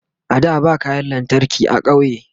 a da ba kayan lantarki a ƙauye